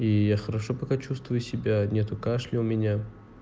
и я хорошо пока чувствую себя нету кашля у меня